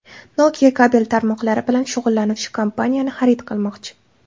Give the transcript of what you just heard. Nokia kabel tarmoqlari bilan shug‘ullanuvchi kompaniyani xarid qilmoqchi.